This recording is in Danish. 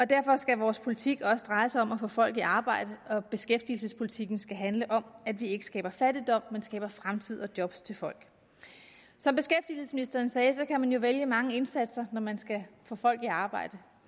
derfor skal vores politik også dreje sig om at få folk i arbejde og beskæftigelsespolitikken skal handle om at vi ikke skaber fattigdom men skaber fremtid og job til folk som beskæftigelsesministeren sagde kan man jo vælge mange indsatser når man skal få folk i arbejde